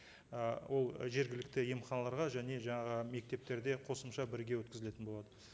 ы ол жергілікті емханаларда және жаңағы мектептерде қосымша бірге өткізілетін болады